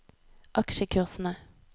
aksjekursene